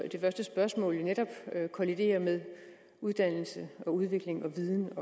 første spørgsmål netop kollidere med uddannelse udvikling viden